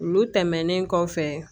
Olu tɛmɛnen kɔfɛ